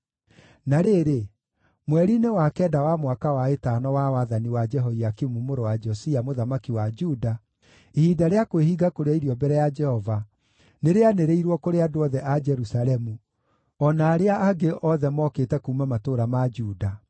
Na rĩrĩ, mweri-inĩ wa kenda wa mwaka wa ĩtano wa wathani wa Jehoiakimu mũrũ wa Josia mũthamaki wa Juda, ihinda rĩa kwĩhinga kũrĩa irio mbere ya Jehova nĩrĩanĩrĩirwo kũrĩ andũ othe a Jerusalemu, o na arĩa angĩ othe mookĩte kuuma matũũra ma Juda.